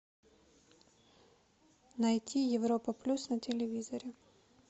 найти европа плюс на телевизоре